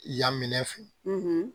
Yan minɛ fɛ